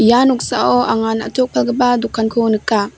ia noksao anga na·tok palgipa dokanko nika.